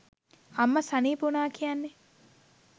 අම්ම සනීප වුණා කියන්නේ